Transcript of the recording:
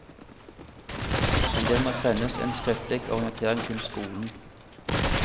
Men det må sendes en skriftlig orientering til skolen.